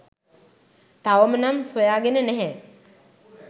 තවම නම් සොයාගෙන නැහැ.